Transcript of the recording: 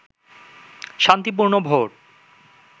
শান্তিপূর্ণ ভোট